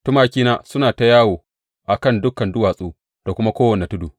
Tumakina suna ta yawo a kan dukan duwatsu da kuma kowane tudu.